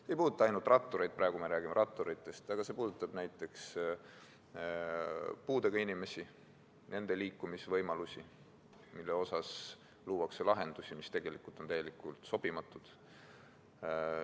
See ei puuduta ainult rattureid – praegu me räägime ratturitest –, vaid see puudutab ka näiteks puuetega inimesi, nende liikumisvõimalusi, mille osas luuakse lahendusi, mis tegelikult on täiesti sobimatud.